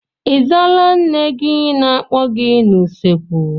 Ị zaala nne gị na-akpọ gị n'usekwu?